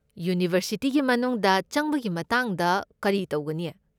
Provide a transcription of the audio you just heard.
ꯌꯨꯅꯤꯚꯔꯁꯤꯇꯤꯒꯤ ꯃꯅꯨꯡꯗ ꯆꯪꯕꯒꯤ ꯃꯇꯥꯡꯗ ꯀꯔꯤ ꯇꯧꯒꯅꯤ?